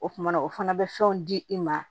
O kumana o fana bɛ fɛnw di i ma